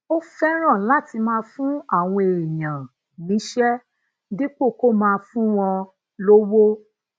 ó féràn láti máa fún àwọn èèyàn níṣé dípò kó máa fún wọn lówó